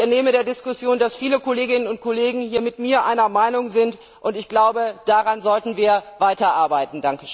Und ich entnehme der Diskussion, dass viele Kolleginnen und Kollegen hier mit mir einer Meinung und glaube, daran sollten wir weiterarbeiten.